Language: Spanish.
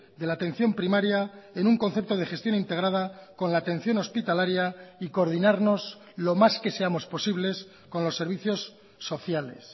de la atención primaria en un concepto de gestión integrada con la atención hospitalaria y coordinarnos lo más que seamos posibles con los servicios sociales